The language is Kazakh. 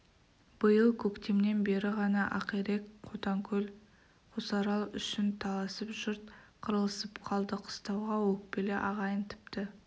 биыл көктемнен бері ғана ақирек қотаңкөл қосарал үшін таласып жұрт қырылысып қалды қыстауға өкпелі ағайын тіпті